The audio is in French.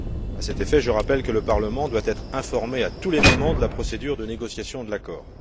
À cet effet, je rappelle que le Parlement doit être informé à tous les moments de la procédure de négociation de l'accord.